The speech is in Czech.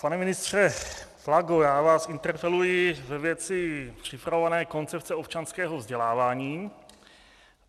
Pane ministře Plago, já vás interpeluji ve věci připravované koncepce občanského vzdělávání.